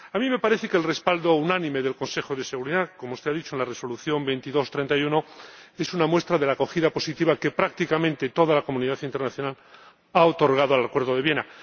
A mí me parece que el respaldo unánime del Consejo de Seguridad ―como usted ha dicho― a la Resolución 2231 es una muestra de la acogida positiva que prácticamente toda la comunidad internacional ha otorgado al Acuerdo de Viena.